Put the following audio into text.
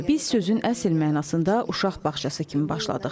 Biz sözün əsl mənasında uşaq bağçası kimi başladıq.